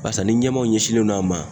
Barisa ni ɲɛmaaw ɲɛsinnen no a ma